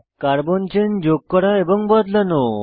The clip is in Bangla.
কার্বন চেন যোগ করা এবং বদলানো